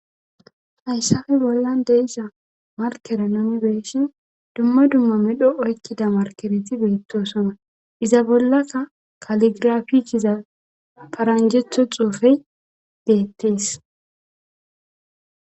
Hayshafi bollan deissha markere nuni beeshin dumma dumma medho oykkida markereti beettosona iza bollasa kaligiraficiza paranjetho xuufey deettes.